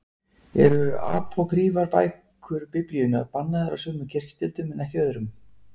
Eru apókrýfar bækur Biblíunnar bannaðar af sumum kirkjudeildum en ekki öðrum?